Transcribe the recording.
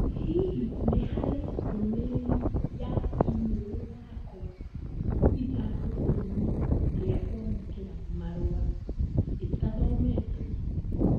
Hihi nĩ harĩ ndũmĩrĩri ya i-mīrū yakwa ithandūkū inī rīa kwamūkīra marua ítathometwo?